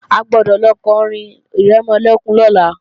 A gbọ́dọ̀ lọ kọrin ìrẹmọlẹ́kún lọ́la!